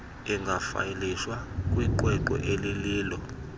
ingafayilishwa kwiqweqwe elilolo